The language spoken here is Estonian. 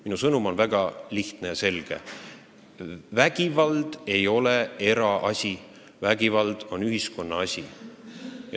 Minu sõnum on väga lihtne ja selge: vägivald ei ole eraasi, vägivald on ühiskonna asi.